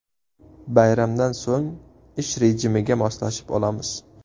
Bayramdan so‘ng ish rejimiga moslashib olamiz.